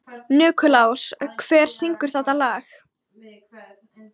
Nikulás, hver syngur þetta lag?